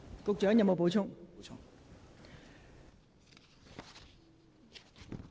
局長，你有否補充？